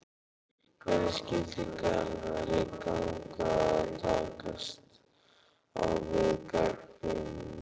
Hvernig skyldi Garðari ganga að takast á við gagnrýnina?